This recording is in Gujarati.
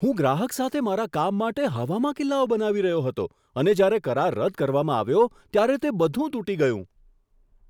હું ગ્રાહક સાથે મારા કામ માટે હવામાં કિલ્લાઓ બનાવી રહ્યો હતો અને જ્યારે કરાર રદ કરવામાં આવ્યો, ત્યારે તે બધું તૂટી ગયું.